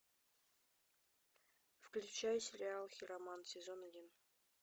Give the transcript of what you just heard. включай сериал хиромант сезон один